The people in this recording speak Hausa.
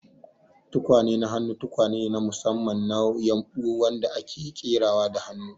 Tukwane na hannu tukwane ne na musamman na ƴumbu wadanda ake ƙerawa da hannu,